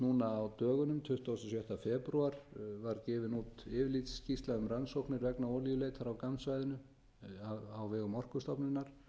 núna dögunum tuttugasta og sjötta febrúar var gefin út yfirlitsskýrsla um rannsóknir vegna olíuleitar á gammssvæðinu á vegum orkustofnunar